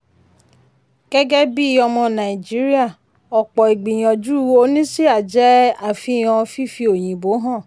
gẹ́gẹ́ bí ọmọ nàìjíríà ọ̀pọ̀ ìgbìyànjú oníṣíà jẹ́ àfihàn fífi òyìnbó hàn.